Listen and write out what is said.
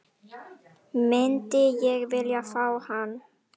Myndi ég vilja fá hann?